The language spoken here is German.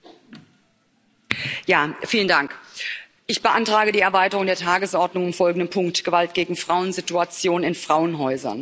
Herr Präsident! Ich beantrage die Erweiterung der Tagesordnung um folgenden Punkt Gewalt gegen Frauen Situation in Frauenhäusern.